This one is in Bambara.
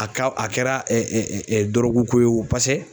A ka a kɛra dɔrɔgu ko ye wo pasɛ